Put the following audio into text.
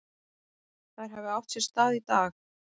Þær hafi átt sér stað í dag.